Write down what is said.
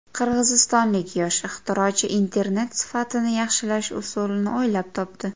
Qirg‘izistonlik yosh ixtirochi internet sifatini yaxshilash usulini o‘ylab topdi.